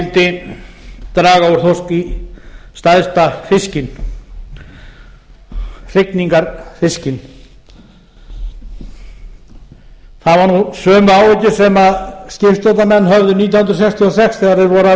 skyldi draga úr sókn í stærsta fiskinn hrygningarfiskinn það voru sömu áhyggjur sem skipstjórnarmenn höfðu nítján hundruð sextíu og sex þegar þeir voru að